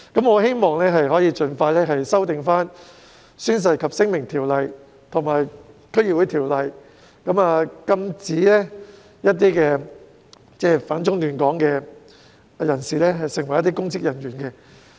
我希望當局可以盡快修訂《宣誓及聲明條例》和《區議會條例》，禁止反中亂港人士出任公職人員。